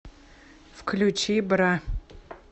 включи бра